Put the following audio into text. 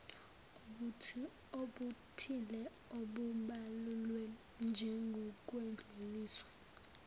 obuthile obubalulwe njengokwedluliswa